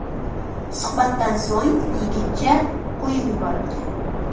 Suhbatdan so‘ng yigitcha qo‘yib yuborilgan.